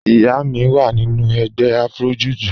Ìyá mi wá nínu ègbè Afro-Jùjú